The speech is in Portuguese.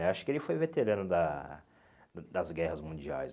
Acho que ele foi veterano da das guerras mundiais.